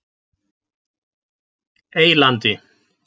Eylandi